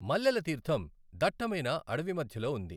మల్లెల తీర్థం దట్టమైన అడవి మధ్యలో ఉంది.